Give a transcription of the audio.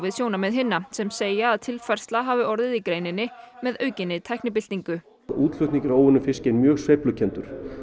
sjónarmið hinna sem segja að tilfærsla hafi orðið í greininni með aukinni tæknibyltingu útflutningur á óunnum fiski er mjög sveiflukenndur